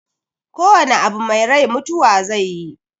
Ko wana abu mai rai mutuwa zaiyi